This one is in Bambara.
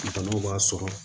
Banaw b'a sɔrɔ